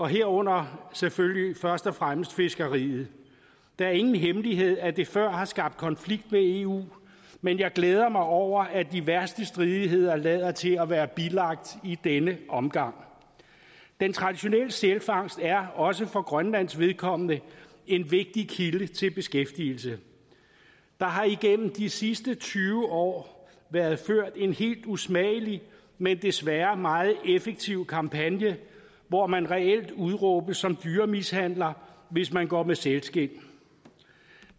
herunder selvfølgelig først og fremmest fiskeriet det er ingen hemmelighed at det før har skabt konflikt med eu men jeg glæder mig over at de værste stridigheder lader til at være bilagt i denne omgang den traditionelle sælfangst er også for grønlands vedkommende en vigtig kilde til beskæftigelse der har igennem de sidste tyve år været ført en helt usmagelig men desværre meget effektiv kampagne hvor man reelt udråbes som dyremishandler hvis man går med sælskind